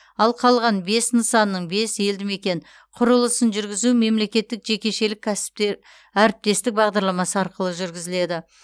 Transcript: ал қалған бес нысанның бес елдімекен құрылысын жүргізу мемлекеттік жекешелік әріптестік бағдарламасы арқылы жүргізіледі